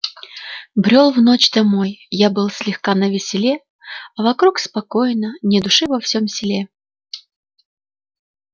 брёл в ночь домой я был слегка на веселе а вокруг спокойно ни души во всём селе